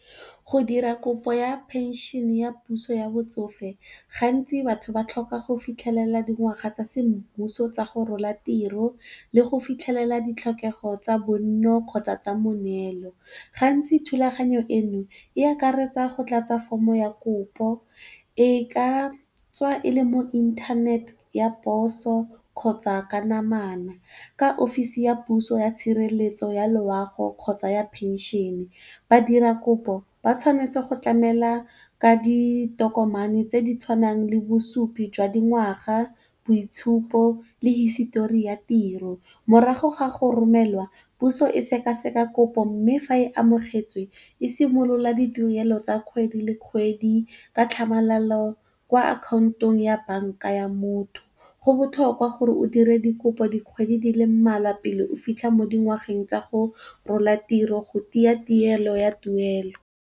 Go dira kopo ya phenšhene ya puso ya botsofe, gantsi batho ba tlhoka go fitlhelela dingwaga tsa semmuso tsa go rola tiro le go fitlhelela ditlhokego tsa bonno kgotsa tsa moneelo. Gantsi thulaganyo eno e akaretsa go tlatsa fomo ya kopo e ka tswa e le mo inthaneteng ya poso kgotsa ka namana, ka offisi ya puso ya tshireletso ya loago, kgotsa ya phenšene badira kopo ba tshwanetse go tlamela ka ditokomane tse di tshwanang le bosupi jwa dingwaga, boitshupo le hisitori ya tiro. Morago ga go romelwa, puso e sekaseka kopo mme fa e amogetswe e simolola ditirelo tsa kgwedi le kgwedi ka tlhamalalo kwa akhaontong ya banka ya motho. Go botlhokwa gore o dire dikopo dikgwedi di le mmalwa pele o fitlha mo dingwageng tsa go rola tiro go tiya tirelo ya tuelo.